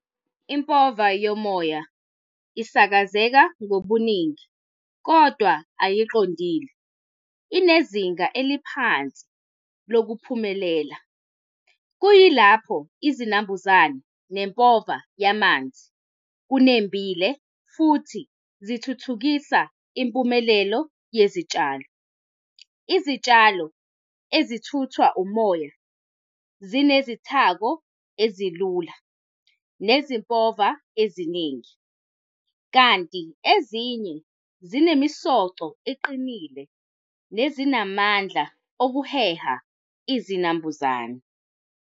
Impova yomoya isakazeka ngobuningi, kodwa ayiqondile, inezinga eliphansi lokuphumelela. Kuyilapho izinambuzane nempova yamanzi kunembile futhi zithuthukisa impumelelo yezitshalo. Izitshalo ezithuthwa umoya zinezinthako ezilula, nezimpova eziningi, kanti ezinye zinemisoco eqinile, nezinamandla okuheha izinambuzane.